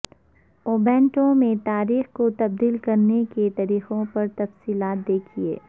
Ubuntu میں تاریخ کو تبدیل کرنے کے طریقوں پر تفصیلات دیکھیں